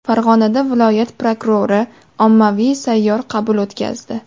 Farg‘onada viloyat prokurori ommaviy sayyor qabul o‘tkazdi.